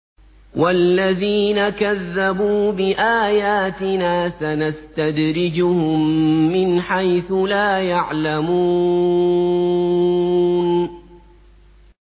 وَالَّذِينَ كَذَّبُوا بِآيَاتِنَا سَنَسْتَدْرِجُهُم مِّنْ حَيْثُ لَا يَعْلَمُونَ